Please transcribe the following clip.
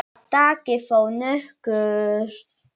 Það taki þó nokkurn tíma.